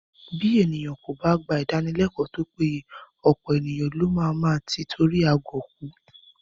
Bí ènìyàn kò bá gba Ìdánilẹ́kọ̀ọ́ tó péye, ọ̀pọ̀ ènìyàn ló má máa tí itori agọ̀ kú